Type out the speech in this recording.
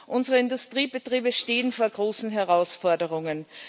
Unsere Industriebetriebe stehen vor großen Herausforderungen.